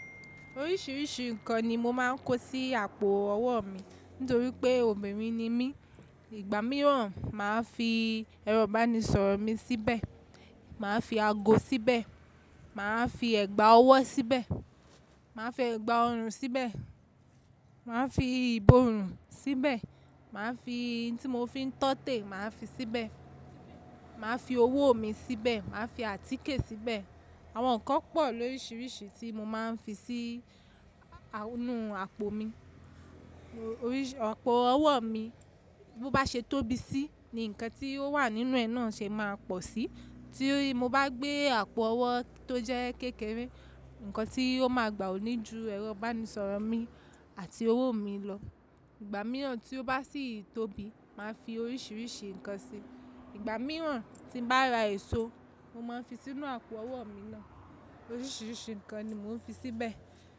Oríṣiríṣi ǹkan ni mo máa ń kó sí àpò ọwọ́ mi nítorí pé obìnrin ni mí. Ìgbà míràn màá fi ẹrọ̀ ibáńni sọ̀rọ̀ mi síbẹ̀, màá fi ago síbẹ̀, màá fi ẹ̀gbà ọwọ́ síbẹ̀, màá fi ẹ̀gbà ọrùn síbẹ̀, màá fi ìbòrùn síbẹ̀, màá fi ohun tí mo fi ń tọ́ tẹ̀ màá fi síbẹ̀, màá fi owó mi síbẹ̀, màá fi àtíkè síbẹ̀. Àwọn ǹkan pọ̀ lóríṣiríṣi tí mo máa ń fi sí inú àpò mi. Àpò ọwọ́ mi bó bá ṣe tóbi síi ni ǹkan tí ó wà nínú ẹ náà ṣe máa pọ̀ sí. Tí mo bá gbé àpò ọwọ́ tó jẹ́ kékeré, ǹkan tí ó máa gbà òní ju ẹrọ̀ báńni sọ̀rọ̀ mi àti owó mi lọ. Ìgbà mìíràn tí ó bá sì tóbi, màá fi oríṣiríṣi ǹkan sí. Ìgbà mìíràn tí n bá ra èso, mo máa ń fi sínú àpò ọwọ́ mi náà. Oríṣiríṣi ǹkan ni mò ń fi síbẹ̀.